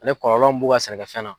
Ani kɔlɔlɔ mun b'u ka sɛnɛkɛfɛn na.